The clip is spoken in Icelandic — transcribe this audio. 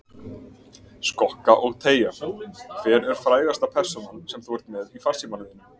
Skokka og teygja Hver er frægasta persónan sem þú ert með í farsímanum þínum?